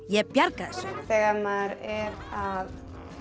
ég bjarga þessu þegar maður er að